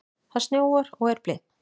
Það snjóar og er blint.